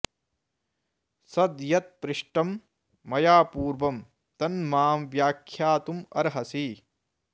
सद् यत् पृष्टं मया पूर्वं तन् मां व्याख्यातुमर्हसि